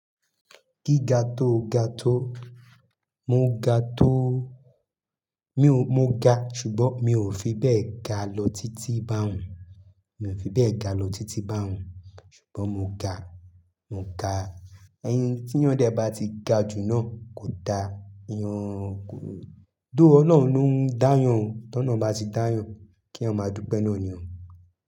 Gíga tó ga tó, mo ga tó, mi ò, mo ga ṣùgbọ́n mi ò fi bẹ́ẹ̀ ga lọ títí bá òun, mi ò fi bẹ́ẹ̀ ga lọ títí bá òun ṣùgbọ́n mo ga, mo ga. Ẹyin tí yan dẹ bá ti ga jù náà kò da, ìyàn kò, though Ọlọ́run ló ń dáyàn ó, tọ Ọlọ́run bá ti dáyàn kí yan máa dúpẹ́ náà ni o.